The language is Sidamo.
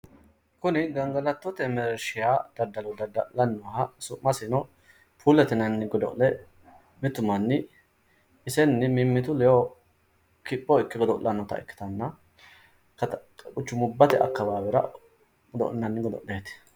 Kuni ganigalatote mereerishiha daddallo daddallani nooha su'masinno puulete yinanni godo'lle mittu manni isenni mimitu ledo kipho ikke godo'llanota ikitana quchumubate akawaawera godo'llinani godo'lleeti